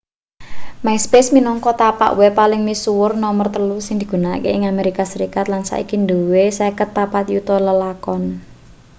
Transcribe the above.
myspace minangka tapak web paling misuwur nomer telu sing digunakake ing amerika serikat lan saiki duwe 54 yuta lelakon